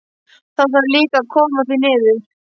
Það þarf líka að koma því niður.